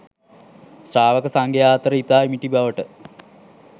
ශ්‍රාවක සංඝයා අතර ඉතා මිටි බවට